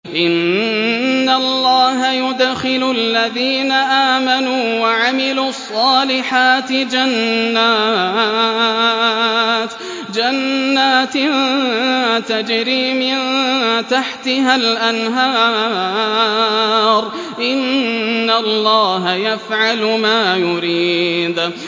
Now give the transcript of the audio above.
إِنَّ اللَّهَ يُدْخِلُ الَّذِينَ آمَنُوا وَعَمِلُوا الصَّالِحَاتِ جَنَّاتٍ تَجْرِي مِن تَحْتِهَا الْأَنْهَارُ ۚ إِنَّ اللَّهَ يَفْعَلُ مَا يُرِيدُ